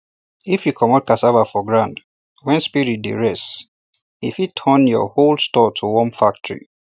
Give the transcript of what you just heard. if you commot cassava for ground when spirit dey rest e fit turn your whole store to worm factory